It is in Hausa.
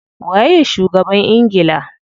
Waye shugaban ingila?